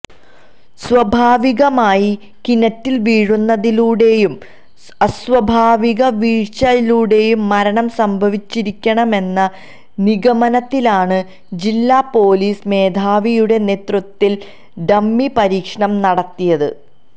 സ്വാഭാവികമായി കിണറ്റിൽ വീഴുന്നതിലൂടെയും അസ്വാഭാവിക വീഴ്ചയിലൂടെയും മരണം സംഭവിച്ചിരിക്കാമെന്ന നിഗമനത്തിലാണു ജില്ലാ പൊലീസ് മേധാവിയുടെ നേതൃത്വത്തിൽ ഡമ്മി പരീക്ഷണം നടത്തിയത്